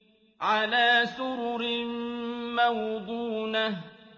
عَلَىٰ سُرُرٍ مَّوْضُونَةٍ